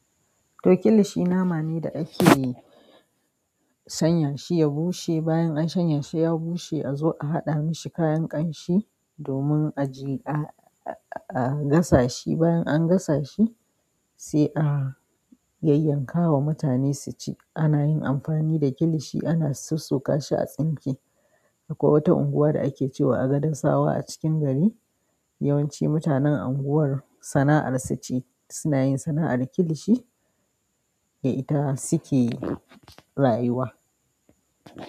To kilishi nama ne da ake sanyashi ya bushe. Bayan an shanyashi ya bushe, a zo a haɗa mishi kayan ƙanshi domin a gasa shi. Bayan an gasa shi, sai a yayyanka wa mutane su ci. Anayin amfani da kilishi ana sossokashi a tsinke akwai wata unguwa da ake ce wa Agadasawa a cikin gari. Yawanci mutanen anguwar sana'arsu ce suna yin sana'ar kilishi, da ita suke rayuwa.